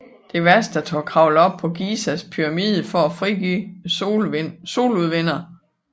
Devastator kravler op på Gizas pyramide for at frigøre Soludvinderen